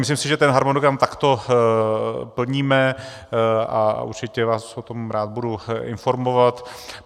Myslím si, že ten harmonogram takto plníme, a určitě vás o tom rád budu informovat.